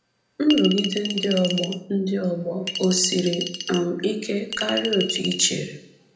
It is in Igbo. Nrụgide ndị ọgbọ ndị ọgbọ ò siri um ike karịa otú i chere?